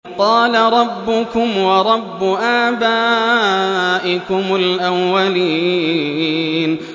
قَالَ رَبُّكُمْ وَرَبُّ آبَائِكُمُ الْأَوَّلِينَ